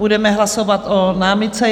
Budeme hlasovat o námitce.